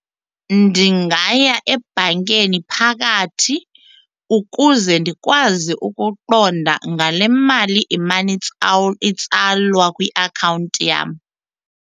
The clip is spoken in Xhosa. Ndingaya ebhankeni phakathi ukuze ndikwazi ukuqonda ngale mali imane itsalwa kwiakhawunti yam.